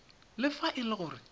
le fa e le gore